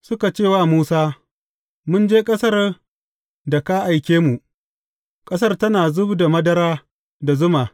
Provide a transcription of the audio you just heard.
Suka ce wa Musa, Mun je ƙasar da ka aike mu, ƙasar tana zub da madara da zuma!